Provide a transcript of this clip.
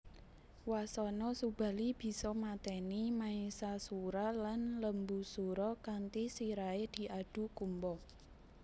Wasana Subali bisa mateni Maesasura lan Lembusura kanthi sirahe diadhu kumba